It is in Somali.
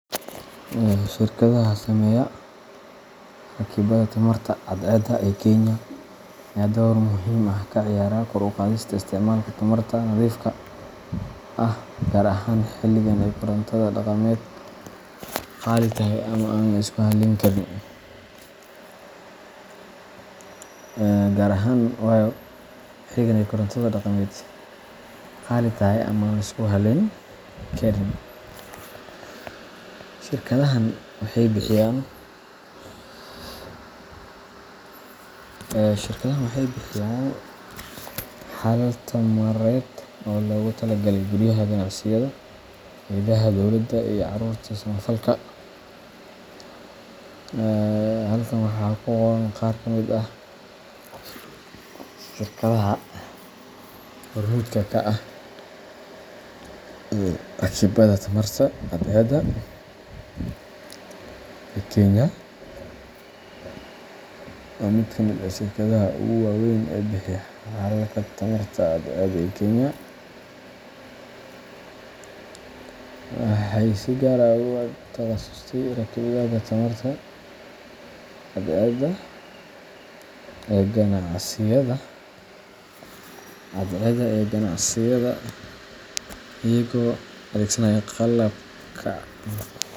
Shirkadaha sameeya rakibaadda tamarta cadceedda ee Kenya ayaa door muhiim ah ka ciyaara kor u qaadista isticmaalka tamarta nadiifka ah, gaar ahaan xilligan ay korontada dhaqameed qaali tahay ama aan la isku halleyn karin. Shirkadahan waxay bixiyaan xalal tamareed oo loogu talagalay guryaha, ganacsiyada, hay'adaha dowladda, iyo ururada samafalka. Halkan waxaa ku qoran qaar ka mid ah shirkadaha hormuudka ka ah rakibaadda tamarta cadceedda ee Kenya, waa mid ka mid ah shirkadaha ugu waaweyn ee bixiya xalalka tamarta cadceedda ee Kenya. Waxay si gaar ah ugu takhasustay rakibaadda nidaamyada tamarta cadceedda ee ganacsiyada, iyagoo adeegsanaya qalabka.